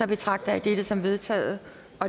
betragter jeg dette som vedtaget